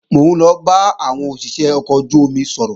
Mò ń lọ bá àwọn òṣìṣé ọkọ̀ ojú-omi sọ̀rọ̀